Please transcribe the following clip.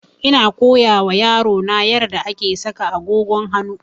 Ina koya wa yaro na yarda ake saka agogon hanu